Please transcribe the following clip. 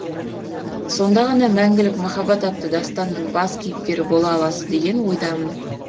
сонда ғана мәңгілік махаббат атты дастанның бас кейіпкері бола аласыз деген ойдамын